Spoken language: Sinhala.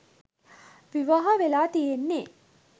විවාහ වෙලා තියෙන්නේ?